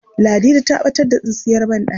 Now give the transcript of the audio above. Ladidi ta ɓatar da tsintsiyar banɗaki.